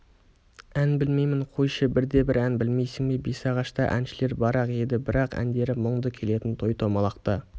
ән білмеймін қойшы бірде-бір ән білмейсің бе бесағашта әншілер бар-ақ еді бірақ әндері мұңды келетін той-томалақта